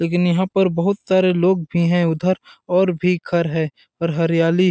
लेकिन यहाँ पे बहुत सारे लोग भी हे उधर और भी घर हे और हरियाली--